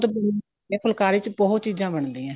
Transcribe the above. ਬਹੁਤ ਜਿਆਦਾ ਫੁਲਕਾਰੀ ਚ ਬਹੁਤ ਚੀਜ਼ਾਂ ਬਣਦੀਆਂ ਏ